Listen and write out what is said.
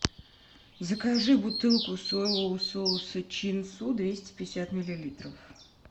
закажи бутылку соевого соуса чин су двести пятьдесят миллилитров